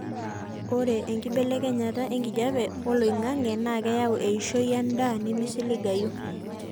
ore enkibelekenyata enkijape oloingangi naa keyau eishoi endaa nemeisigilayu